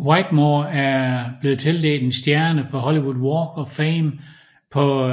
Whitmore er blevet tildelt en stjerne på Hollywood Walk of Fame på